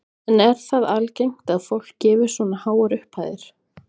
En er það algengt að fólk gefi svona háar upphæðir?